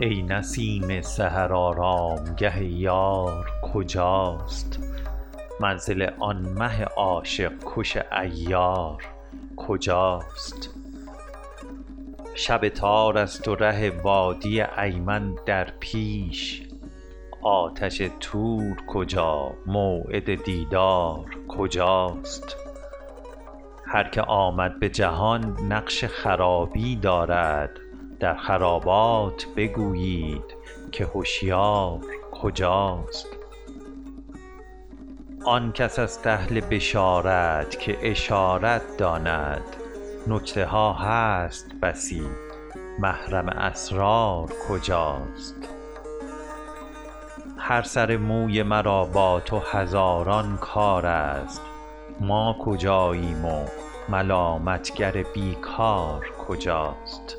ای نسیم سحر آرامگه یار کجاست منزل آن مه عاشق کش عیار کجاست شب تار است و ره وادی ایمن در پیش آتش طور کجا موعد دیدار کجاست هر که آمد به جهان نقش خرابی دارد در خرابات بگویید که هشیار کجاست آن کس است اهل بشارت که اشارت داند نکته ها هست بسی محرم اسرار کجاست هر سر موی مرا با تو هزاران کار است ما کجاییم و ملامت گر بی کار کجاست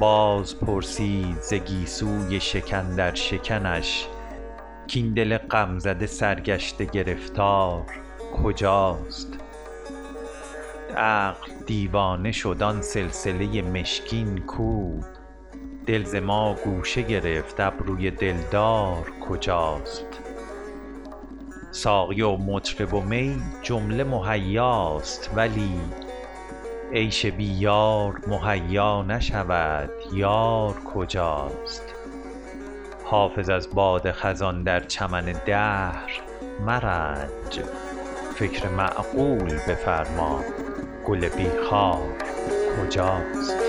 باز پرسید ز گیسوی شکن در شکنش کاین دل غم زده سرگشته گرفتار کجاست عقل دیوانه شد آن سلسله مشکین کو دل ز ما گوشه گرفت ابروی دلدار کجاست ساقی و مطرب و می جمله مهیاست ولی عیش بی یار مهیا نشود یار کجاست حافظ از باد خزان در چمن دهر مرنج فکر معقول بفرما گل بی خار کجاست